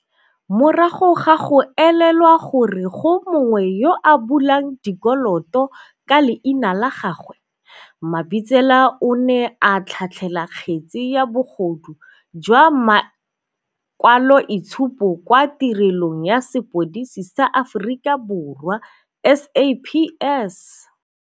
Morago ga go elelwa gore go mongwe yo a bulang dikoloto ka leina la gagwe, Mabitsela o ne a tlhatlhela kgetse ya bogodu jwa ma kwaloitshupo kwa Tirelong ya Sepodisi sa Aforika Borwa, SAPS.